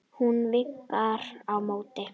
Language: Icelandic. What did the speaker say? Hún vinkar á móti.